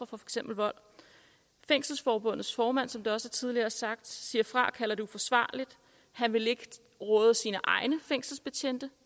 for eksempel vold fængselsforbundets formand som det også tidligere er sagt siger fra og kalder det uforsvarligt han vil råde sine egne fængselsbetjente